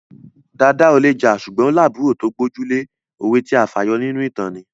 Dàda ò le jà ṣùgbọ́n ó lábùúrò tó gbójú lé. Òwe tí a fà yọ nínú ìtàn ni